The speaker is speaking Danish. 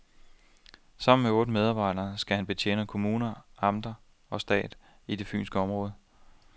Sammen med otte medarbejdere skal han betjene kommuner, amter og stat i det fynske område.